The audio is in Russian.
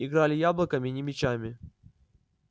играли яблоками не мячами